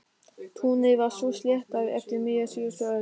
Túnið var svo sléttað eftir miðja síðustu öld.